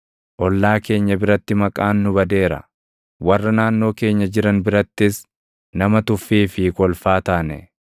Ollaa keenya biratti maqaan nu badeera; warra naannoo keenya jiran birattis nama tuffii fi kolfaa taane.